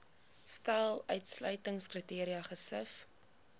stel uitsluitingskriteria gesif